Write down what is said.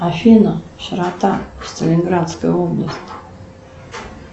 афина широта сталинградской области